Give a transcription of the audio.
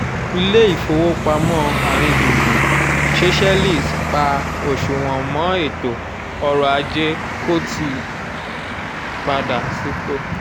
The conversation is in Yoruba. ile-ifowopamọ aringbungbun seychelles pa oṣuwọn mọ́ ètò ọrọ̀ ajé kò tíì padà sípò